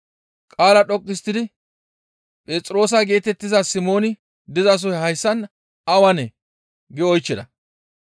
Qaala dhoqqu histtidi, «Phexroosa geetettiza Simooni dizasoy hayssan awanee?» gi oychchida.